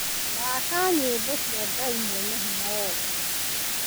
thaaka nyĩmbo cia Ngai Mwene Hinya Wothe